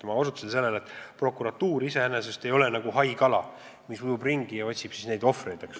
Ma osutasin sellele, et prokuratuur iseenesest ei ole nagu haikala, kes ujub ringi ja otsib ohvreid.